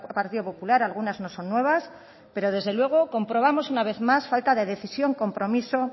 partido popular algunas no son nuevas pero desde luego comprobamos una vez más falta de decisión compromiso